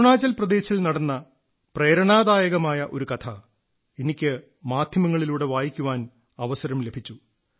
അരുണാചൽ പ്രദേശിൽ നടന്ന പ്രേരണാദായകമായ ഒരു കഥ എനിക്ക് മാധ്യമങ്ങളിലൂടെ വായിക്കാൻ അവസരം ലഭിച്ചു